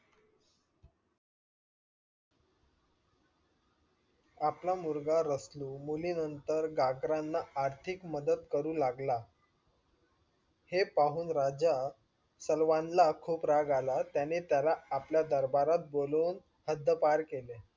आपला मुलगा रसलू मुलीनानंतर गगरांना आर्थिक मदत करू लागला हे पाहून राजा सलवान ला खूप राग आला त्याने त्याला आपल्या दरबारात बोलून हद्दपार केले.